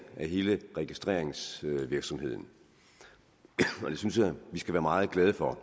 af hele registreringsvirksomheden og det synes jeg at vi skal være meget glade for